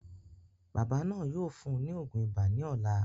Bàbá náà yóò fún ùn ní òògùn ibà ní ọ̀la